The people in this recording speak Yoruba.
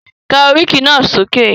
Ka oríkì náà sókè!